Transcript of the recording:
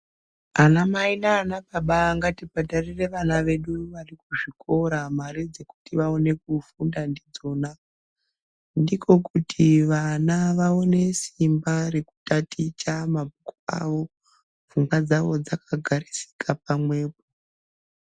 Anamai nanababa ngati bhadharire vana vedu varikuzvikora mare dzekuti vaone kufunda ndidzona ndiko kuti vana vaone isimba rekutaticha mabhuku avo fungwa dzavo dzakagarisika pamwepo.